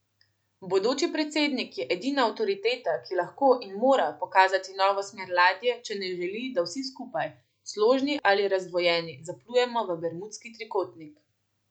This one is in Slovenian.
Bodoči predsednik je edina avtoriteta, ki lahko in mora pokazati novo smer ladje, če ne želi, da vsi skupaj, složni ali razdvojeni, zaplujemo v bermudski trikotnik.